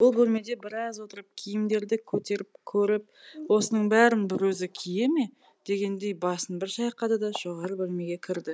бұл бөлмеде біраз отырып киімдерді көтеріп көріп осының бәрін бір өзі кие ме дегендей басын бір шайқады да жоғарғы бөлмеге кірді